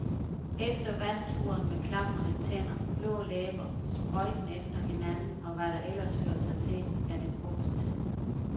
Efter vandturen med klaprende tænder, blå læber, sprøjten efter hinanden og hvad der ellers hører sig til, er det frokosttid.